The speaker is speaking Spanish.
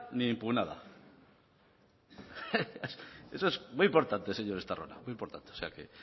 ni impugnada eso es muy importante señor estarrona muy importante o sea que